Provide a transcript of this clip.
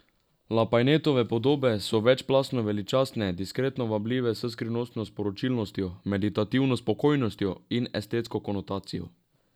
Lapajnetove podobe so večplastno veličastne, diskretno vabljive s skrivnostno sporočilnostjo, meditativno spokojnostjo in estetsko konotacijo.